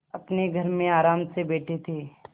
अपने घर में आराम से बैठे थे